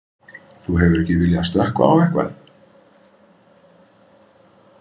Þú hefur ekki viljað stökkva á eitthvað?